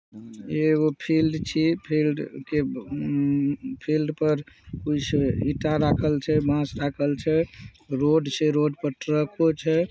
इ एगो फील्ड छै फील्ड के अम्म फील्ड पर कुछ ईंटा रखल छै बांस रखल छै रोड छै रोड पर ट्रको छै।